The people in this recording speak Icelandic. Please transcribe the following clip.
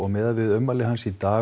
miðað við ummæli hans í dag